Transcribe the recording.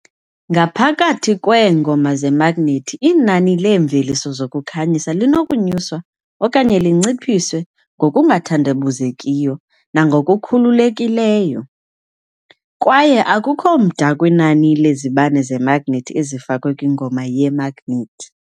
Ngaphakathi kweengoma zemagnethi inani leemveliso zokukhanyisa linokunyuswa okanye linciphiswe ngokungathandabuzekiyo nangokukhululekileyo, kwaye akukho mda kwinani lezibane zemagnethi ezifakwe kwingoma yemagnethi.